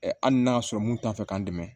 Hali n'a y'a sɔrɔ mun t'a fɛ k'an dɛmɛ